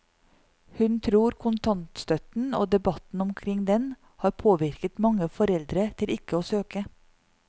Hun tror kontantstøtten og debatten omkring den har påvirket mange foreldre til ikke å søke.